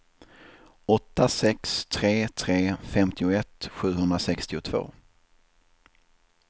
åtta sex tre tre femtioett sjuhundrasextiotvå